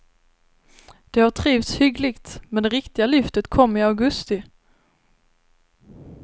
De har trivts hyggligt, men det riktiga lyftet kom i augusti.